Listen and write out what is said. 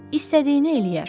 İstədiyini eləyər.